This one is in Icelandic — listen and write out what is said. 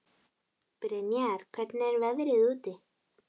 Brynjar, hvernig er veðrið úti?